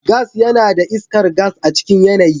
Gas yana da iskar gas a cikin yanayi.